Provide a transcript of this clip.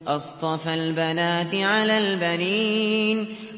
أَصْطَفَى الْبَنَاتِ عَلَى الْبَنِينَ